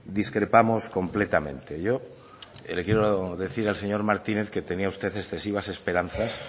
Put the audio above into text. discrepamos completamente yo le quiero decir al señor martínez que tenía usted excesivas esperanzas